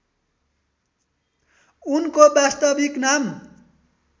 उनको वास्तविक नाम